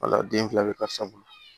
Wala den fila bɛ karisa bolo